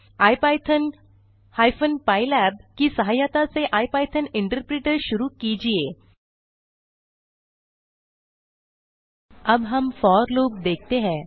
IPython hyphen pylab की सहायता से इपिथॉन इंटरप्रिटर शुरू कीजिये अब हम फोर लूप देखते हैं